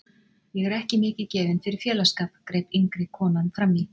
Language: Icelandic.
Ég er ekki mikið gefin fyrir félagsskap, greip yngri konan frammí.